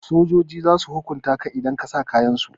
Sojojin zasu hukunta ka idan ka sa kayansu.